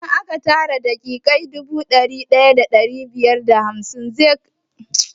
Idan aka tara daƙiƙa dubu ɗaya da ɗari biyar da ashirin zai bada minti ɗaya kuwa?